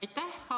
Aitäh!